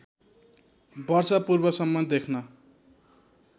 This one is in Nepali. वर्ष पूर्वसम्म देख्न